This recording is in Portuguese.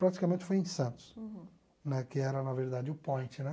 Praticamente foi em Santos. Uhum. Né que era, na verdade, o point, né?